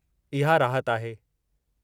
इहा राहत आहे।